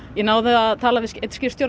ég náði að tala við einn skipstjóra